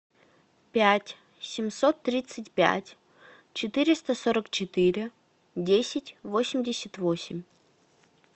пять семьсот тридцать пять четыреста сорок четыре десять восемьдесят восемь